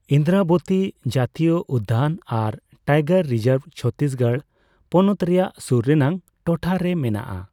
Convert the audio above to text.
ᱤᱱᱫᱨᱟᱵᱚᱛᱤ ᱡᱟᱛᱤᱭᱚ ᱩᱫᱽᱫᱟᱱ ᱟᱨ ᱴᱟᱭᱜᱟᱨ ᱨᱤᱡᱟᱨᱵᱷᱽ ᱪᱷᱚᱛᱛᱤᱥᱜᱚᱲ ᱯᱚᱱᱚᱛ ᱨᱮᱭᱟᱜ ᱥᱩᱨ ᱨᱮᱱᱟᱜ ᱴᱚᱴᱷᱟ ᱨᱮ ᱢᱮᱱᱟᱜ ᱟ ᱾